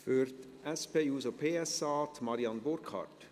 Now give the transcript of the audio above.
Für die SP-JUSO-PSA, Marianne Burkhard.